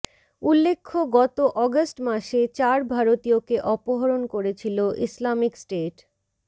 উল্লেখ্য গত অগাস্ট মাসে চার ভারতীয়কে অপহরণ করেছিল ইসলামিক স্টেট